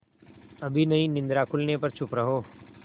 अभी नहीं निद्रा खुलने पर चुप रहो